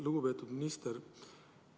Lugupeetud minister!